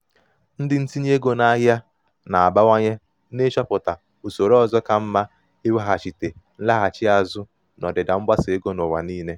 ndị ntinye ego n'ahịa na-abawanye n'ịchọpụta usoro ọzọ ka mma iweghachite nlaghachi azụ n'ọdịda um mgbasa ego n'ụwa niile.